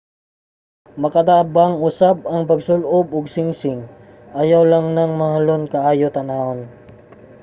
makatabang usab ang pagsul-ob og singsing ayaw lang nang mahalon kaayo tan-awon